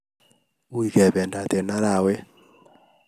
Uu kebendog eng arawet